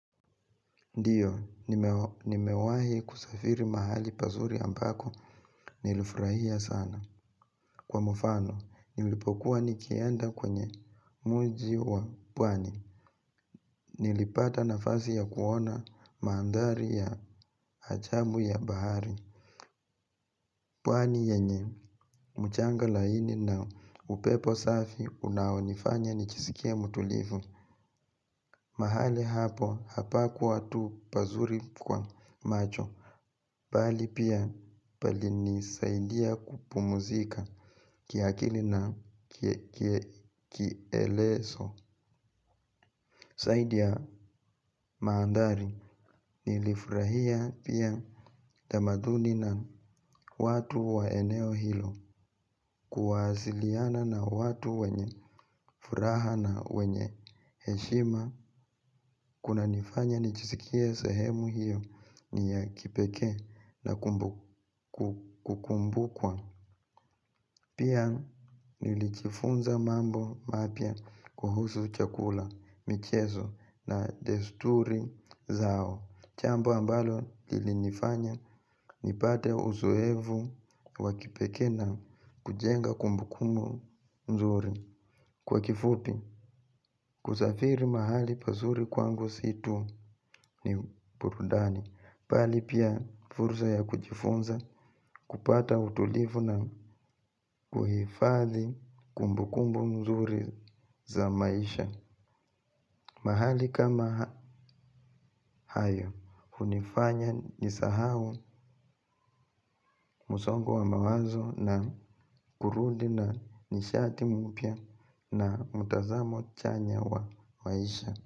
Ndiyo, nimewahi kusafiri mahali pazuri ambako nilifurahia sana. Kwa mfano, nilipokuwa nikienda kwenye mji wa pwani. Nilipata nafasi ya kuona mandhari ya ajabu ya bahari. Pwani yenye, mchanga laini na upepo safi unaonifanya nijisikie mtulivu. Mahali hapo, hapakuwa tu pazuri kwa macho. Bali pia pali nisaidia kupumuzika kiakili na kieleso zaidi ya mandhari nilifurahia pia tamaduni na watu wa eneo hilo. Kuwasiliana na watu wenye furaha na wenye heshima. Kuna nifanya nijisikie sehemu hiyo ni ya kipekee na kukumbukwa. Pia nilijifunza mambo mapya kuhusu chakula, michezo na desturi zao jambo ambalo lilinifanya nipate uzoevu wa kipekee na kujenga kumbukumbu nzuri. Kwa kifupi, kusafiri mahali pazuri kwangu si tu ni burudani bali pia fursa ya kujifunza kupata utulivu na kuhifadhi kumbukumbu nzuri za maisha. Mahali kama hayo hunifanya nisahau msongo wa mawazo na kurudi na nishati mpya na mtazamo chanya wa maisha.